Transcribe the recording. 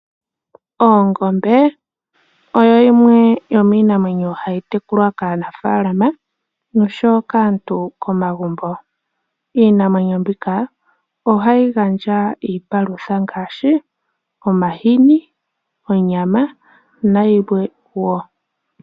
Ongombe oyo yimwe yomiinamwenyo hayi tekulwa kaanafaalama oshowo kaantu komagumbo. Iinamwenyo mbika ohayi gandja iipalutha ngaadhi, omahini, onyama nayilwe woo.